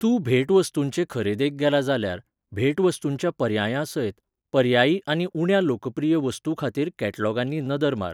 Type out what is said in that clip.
तूं भेटवस्तूंचे खरेदेक गेला जाल्यार, भेटवस्तूंच्या पर्यायां सयत, पर्यायी आनी उण्या लोकप्रिय वस्तूं खातीर कॅटलॉगांनी नदर मार